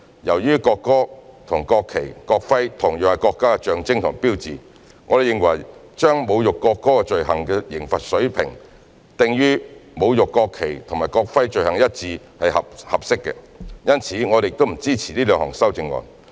由於國歌和國旗、國徽同樣是國家的象徵和標誌，我們認為把侮辱國歌罪行的刑罰水平訂於與侮辱國旗或國徽罪行一致的刑罰水平是合適的，因此我們不支持這兩項修正案。